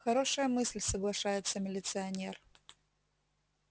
хорошая мысль соглашается милиционер